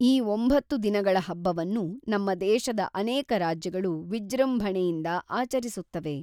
ಈ ಒಂಭತ್ತು ದಿನಗಳ ಹಬ್ಬವನ್ನು ನಮ್ಮ ದೇಶದ ಅನೇಕ ರಾಜ್ಯಗಳು ವಿಜೃಂಭಣೆಯಿಂದ ಆಚರಿಸುತ್ತವೆ.